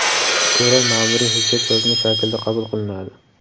ko‘ra maʼmuriy hujjat yozma shaklda qabul qilinadi.